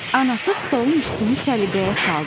Anası stolun üstünü səliqəyə saldı.